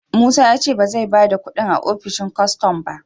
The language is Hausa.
Musa ya ce ba zai ba da kudin a opishin kwastam ba